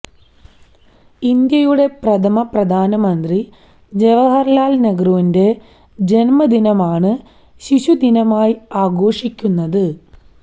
ഇന്ത്യയുടെ പ്രഥമ പ്രധാനമന്ത്രി ജവഹര്ലാല് നെഹ്രുവിന്റെ ജന്മദിനമാണ് ശിശുദിനമായി ആഘോഷിക്കുന്നത്